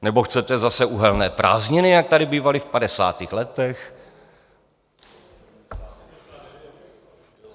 Nebo chcete zase uhelné prázdniny, jak tady bývaly v padesátých letech?